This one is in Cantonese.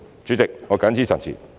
主席，我謹此陳辭。